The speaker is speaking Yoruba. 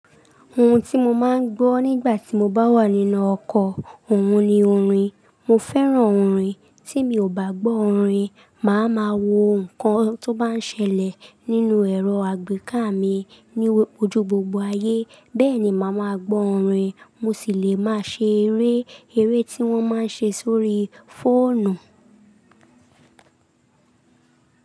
Ohun tí mo máa ń gbọ́ nígbà tí mo bá wà nínú ọkọ̀, òun ni orin. Mo fẹ́ràn orin, tí mi ò bá gbọ́ orin, màá ma wo nǹkan tó bá ń ṣẹlẹ̀ nínú ẹ̀rọ àgbéká mi ní ojú gbogbo ayé, bẹ́ẹ̀ ni màá ma gbọ́ orin. Mo sì le máa ṣe eré, eré tí wọ́n máa ń ṣe sórí fóònù.